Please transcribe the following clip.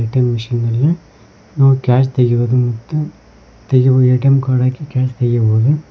ATM machine ನಲ್ಲಿಹಾಗೂ cash ತೆಗುಯುವುದು ಮತ್ತು ಎ_ಟಿ_ಎಂ ಕಾರ್ಡ್ ಹಾಕಿ ಕ್ಯಾಶ್ ತೆಗೆಯಬಹುದು.